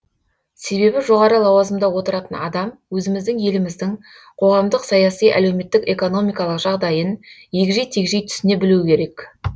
себебі жоғары лауазымда отыратын адам өзіміздің еліміздің қоғамдық саяси әлеуметтік экономикалық жағдайын егжей тегжей түсіне білуі керек